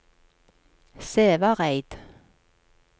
Sævareid